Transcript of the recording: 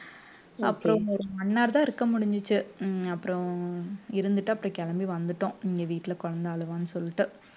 அப்புறம் ஒரு one hour தான் இருக்க முடிஞ்சுச்சு உம் அப்புறம் இருந்துட்டு அப்புறம் கிளம்பி வந்துட்டோம் இங்க வீட்டுல குழந்தை அழுவான்னு சொல்லிட்டு